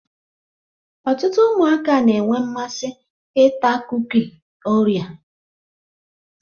Ọtụtụ ụmụaka na-enwe mmasị ịta kuki orea.